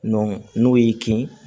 n'o y'i kin